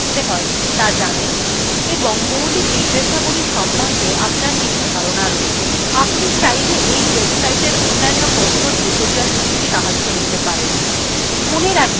আপনি চাইলে এই websiteএর অন্য কথ্য tutorialগুলির সাহায্য নিতে পারেন